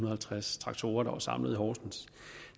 og halvtreds traktorer samlet i horsens